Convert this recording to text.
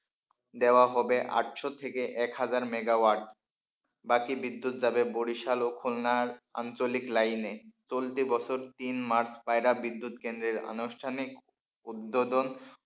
দেওয়া হবে আটশো থেকে এক হাজার মেগাওয়াট বাকি বিদ্যুৎ যাবে বরিশাল ও খুলনার আঞ্চলিক লাইনে চলতি বছর তিন মাস পায়রা বিদ্যুৎ কেন্দ্রের আনুষ্ঠানিক উদ্বোধন,